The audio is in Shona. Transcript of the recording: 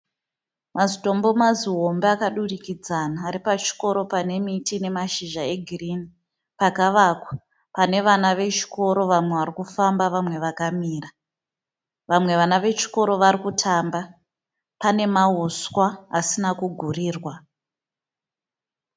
Mazitombo mazihombe akadurikidzana aripachikoro panemiti nemashizha egirini. Pakavakwa, panevava vechikoro vamwe varikufamba vamwe vakamira. Vamwe vana vechikoro varikutamba. Pane mahuswa asina kugurirwa.